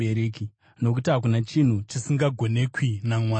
Nokuti hakuna chinhu chisingagonekwi naMwari.”